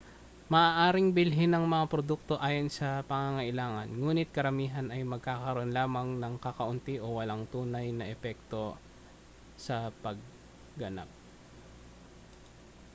maaaring bilhin ang mga produkto ayon sa pangangailangan nguni't karamihan ay magkakaroon lamang ng kakaunti o walang tunay na epekto sa pagganap